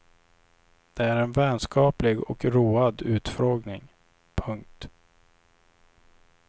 Det är en vänskaplig och road utfrågning. punkt